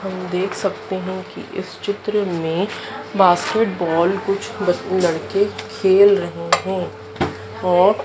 हम देख सकते है कि इस चित्र में बास्केटबॉल कुछ ब लड़के खेल रहे है और--